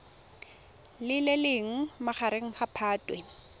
le leng magareng ga phatwe